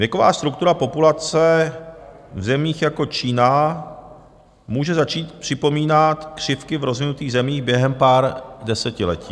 Věková struktura populace v zemích jako Čína může začít připomínat křivky v rozvinutých zemích během pár desetiletí.